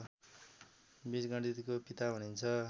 बीजगणितको पिता भनिन्छ